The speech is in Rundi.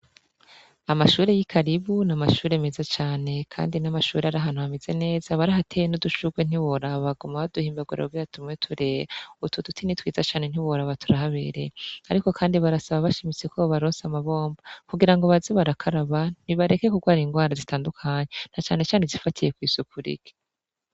Amashuri y'i karibu niamashure meza cane, kandi n'amashuri ari hantuhamize neza bari hateye n'udushurwe ntiborabagoma ba duhimbagurabawehatumwe turea utu dutini twiza cane ntiworaba turaho abereye, ariko, kandi barasaba bashimise ko bobarose amabomba kugira ngo bazibarakaraba ntibareke kurwara ingwara zitandukanya na canecane zifatiye kw'isuku rike.